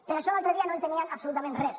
per això l’altre dia no entenien absolutament res